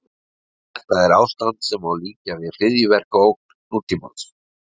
Þetta er ástand sem líkja má við hryðjuverkaógn nútímans.